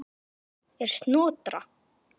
Snælda er Snotra